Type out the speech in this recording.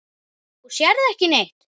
Þú sérð ekki neitt!